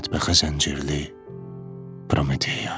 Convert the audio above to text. Mətbəxə zəncirli Prometeya.